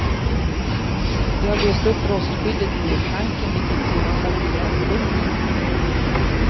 Det har löst upp rostskyddet inne i tanken, vilket sedan satt igen pumpen.